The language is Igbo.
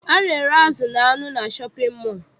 A na-ere azụ na anụ na shọpịn mọọ.